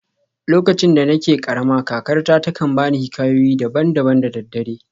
Lokacin da nake karama, kakarta ta kan ba ni hikayoyi daban-daban da daddare.